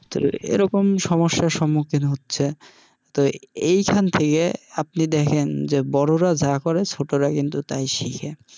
তো এরকম সমস্যার সম্মুখীন হচ্ছে, তো এইখান থেকে আপনি দেখেন যে বড়রা যা করে ছোটরা কিন্তু তাই শিখে।